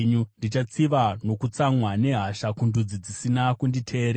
Ndichatsiva nokutsamwa nehasha kundudzi dzisina kunditeerera.”